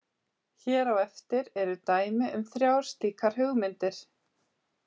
Hér á eftir eru dæmi um þrjár slíkar hugmyndir.